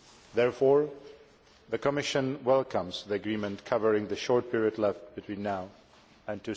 Therefore, the Commission welcomes the agreement covering the short period left between now and